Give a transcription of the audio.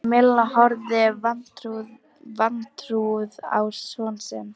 Milla horfði vantrúuð á son sinn.